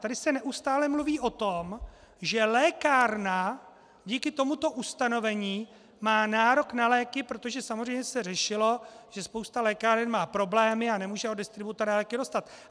Tady se neustále mluví o tom, že lékárna díky tomuto ustanovení má nárok na léky, protože samozřejmě se řešilo, že spousta lékáren má problémy a nemůže od distributora léky dostat.